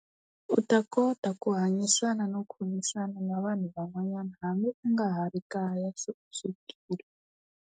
U ta kota ku hanyisana no khomisana na vanhu van'wanyana hambi u nga ha ri kaya se u sukile.